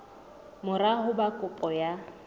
mora ho ba kopo ya